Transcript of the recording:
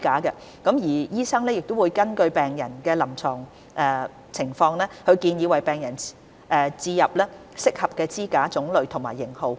醫生會根據病人臨床情況，建議為病人置入適合的支架種類及型號。